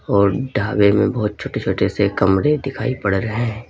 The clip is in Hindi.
और ढाबे में बहुत छोटे छोटे से कमरे दिखाई पड़ रहे हैं।